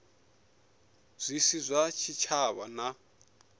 zwi si zwa tshitshavha na